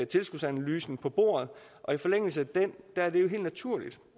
tilskudsanalysen på bordet og i forlængelse af den er det jo helt naturligt